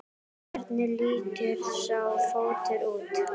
Hvernig lítur sá fótur út?